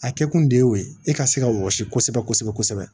A kɛ kun de ye o ye e ka se ka wɔsi kosɛbɛ kosɛbɛ kosɛbɛ